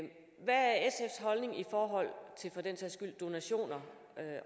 og står